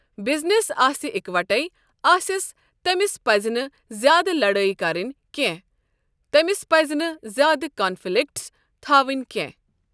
Business آسہِ اِکہٕ وَٹے آسیٚس تٔمِس پَزِ نہٕ زیادٕ لَڑٲے کَرنہِ کیٚنٛہہ تٔمِس پَزِ نہٕ زیادٕ کَنفِلَکٹٕس تھاوِٕنۍ کیٚنٛہہ۔